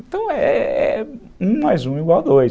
Então, é é um mais um igual dois.